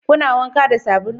Kuna wanka da sabulu?